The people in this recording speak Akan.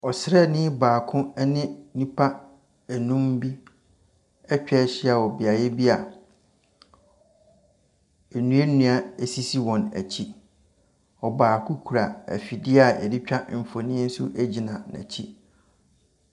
Ɔsrani baako ɛne nnipa nnum bi atwahyia wɔ beaeɛ bi a nnuanua esisi wɔn akyi. Ɔbaako kura ɛfidie a yɛdetwa nfonni nso gyina n'akyi.